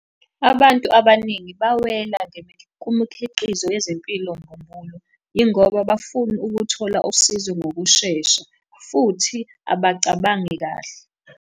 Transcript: Abantu abaningi bawela kumikhiqizo yezempilo mbumbulu, yingoba bafuna ukuthola usizo ngokushesha, futhi abacabangi kahle.